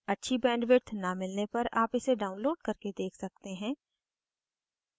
अच्छी bandwidth न मिलने पर आप इसे download करके देख सकते हैं